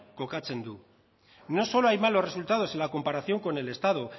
kokatzen du no solo hay malos resultados en la comparación con el estado